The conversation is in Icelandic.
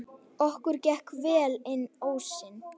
Okkur gekk vel inn ósinn.